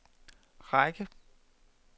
række